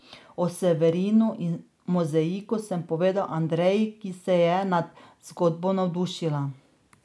O Severinu in mozaiku sem povedal Andreji, ki se je nad zgodbo navdušila.